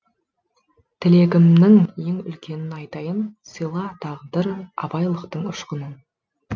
тілегімнің ең үлкенін айтайын сыйла тағдыр абайлықтың ұшқынын